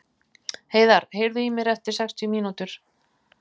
Heiðar, heyrðu í mér eftir sextíu mínútur.